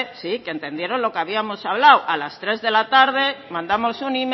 sí que entendieron lo que habíamos hablado mandamos un